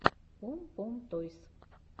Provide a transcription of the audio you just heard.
пом пом тойс